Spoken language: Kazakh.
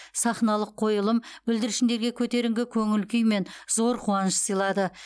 сахналық қойылым бүлдіршіндерге көтеріңкі көңіл күй мен зор қуаныш сыйлады